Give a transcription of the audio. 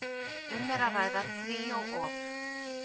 Um er að ræða tríó op.